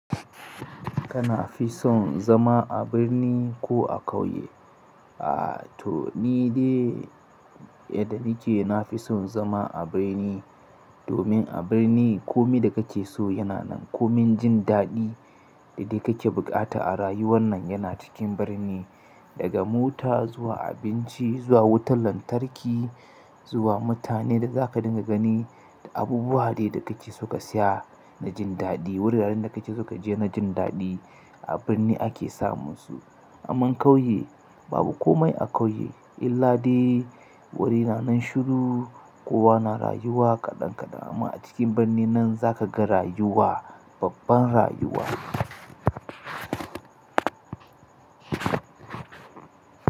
Kana fi son zama a birni ko a ƙauye? A to ni dai yadda nake na fi son zama a birni domin a birni komi da kake so yana nan. Komin jin daɗi da kake buƙata a rayuwan nan yana cikin birni, daga mota zuwa abinci zuwa wutar lantarki. Zuwa mutanen da zaka dinga gani, abubuwa da kake so ka siya na jin daɗi, wuraren da kake so ka je na jin daɗi a birni ake samun su. Amma ƙauye babu komai a ƙauye illa dai wuri na nan shiru, kowa na rayuwa kaɗan kaɗan amma a cikin birni nan zaka ga rayuwa, babban rayuwa.